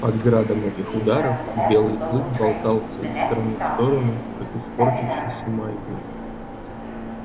под градом этих ударов белый клык болтался из стороны в сторону как испортившийся маятник